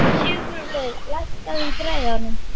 Sigurlaugur, lækkaðu í græjunum.